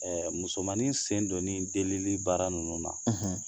Ɛ musomanin sen donni delili baara ninnu na